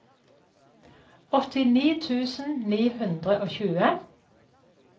åttini tusen ni hundre og tjue